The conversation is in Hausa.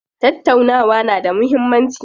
Tattaunawa na da muhimmanci.